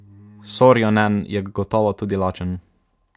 Sorjonen je gotovo tudi lačen.